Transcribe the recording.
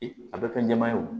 A bɛ fɛn jɛman ye wo